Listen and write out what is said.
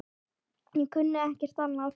Ég kunni ekkert annað.